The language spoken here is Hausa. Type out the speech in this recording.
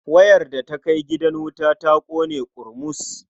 Wayar da ta kai gidan wuta ta ƙone ƙurmus.